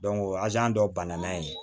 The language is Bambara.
o dɔ banana ye